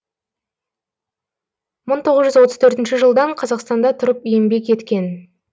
мың тоғыз жүз отыз төртінші жылдан қазақстанда тұрып еңбек еткен